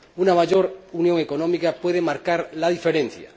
Una mayor unión económica puede marcar la diferencia.